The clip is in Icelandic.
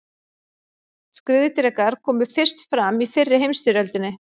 Skriðdrekar komu fyrst fram í fyrri heimsstyrjöldinni.